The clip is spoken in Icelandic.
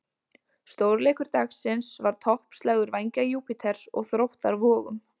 Stórleikur dagsins var toppslagur Vængja Júpíters og Þróttar Vogum.